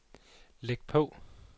læg på